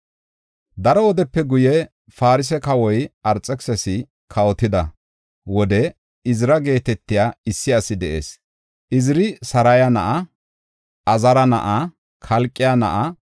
Daro wodepe guye, Farse kawua Arxekisisi kawotida wode Izira geetetiya issi asi de7is. Iziri Saraya na7a; Azaara na7a; Kalqe na7a;